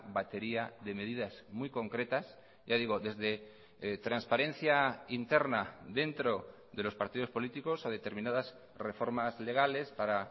batería de medidas muy concretas ya digo desde transparencia interna dentro de los partidos políticos a determinadas reformas legales para